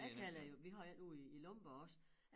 Jeg kalder jo vi har jo én ude i Lomborg også